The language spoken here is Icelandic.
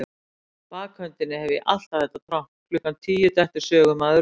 bakhöndinni hef ég alltaf þetta tromp: klukkan tíu dettur sögumaður út.